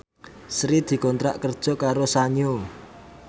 Sri dikontrak kerja karo Sanyo